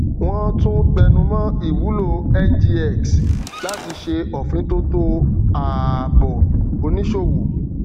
wón tún tẹnu mọ ìwúlò ngx láti ṣe òfintótó àbọ oníṣòwò